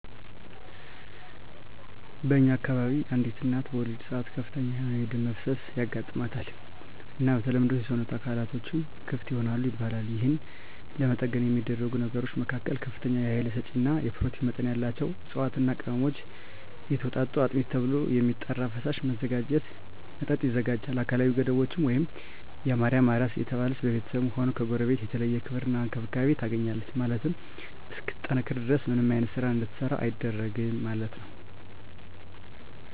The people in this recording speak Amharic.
በእኛ አከባቢ አንዲት እናት በወሊድ ሰአት ከፍተኛ የሆነ የደም መፍሰስ ያጋማታል እና በተለምዶ የሰወነት አካላትቶችም ክፍት ይሆናል ይባላል የህን ለመጠገን የሚደረጉ ነገሮች መካከል ከፍተኛ የሀይል ሰጪ እና የኘሮቲን መጠን ያላቸውን እፅዋትና ቅመሞች የተወጣጡ አጥሚት ተብሎ የሚጠራራ ፈሳሽ መጠጥ ይዘጋጃል አካላዊ ገደቦች ደግም የማርያም አራስ እየተባለች በቤተስብም ሆነ ከጎረቤት የተለየ ክብር እና እንክብካቤ ታገኛለች ማለት ነው እስክትጠነክር ድረስ ምንም አይነት ስራ እንድትሰራ አይደረግም ማለት ነው።